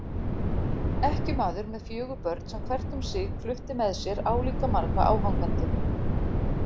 Ekkjumaður með fjögur börn sem hvert um sig flutti með sér álíka marga áhangendur.